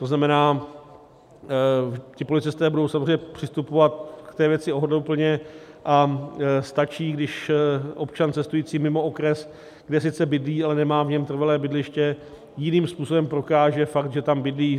To znamená, ti policisté budou samozřejmě přistupovat k té věci ohleduplně a stačí, když občan cestující mimo okres, kde sice bydlí, ale nemá v něm trvalé bydliště, jiným způsobem prokáže fakt, že tam bydlí.